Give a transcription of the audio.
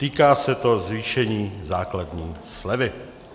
Týká se to zvýšení základní slevy.